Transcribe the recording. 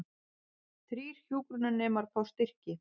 Þrír hjúkrunarnemar fá styrki